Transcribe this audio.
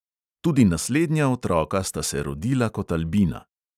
Tudi naslednja otroka sta se rodila kot albina.